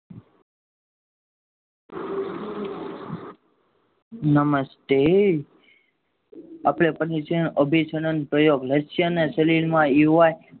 નમસ્તે અભી ચેનલ પ્રયોગ લક્ષણના શરીરમાં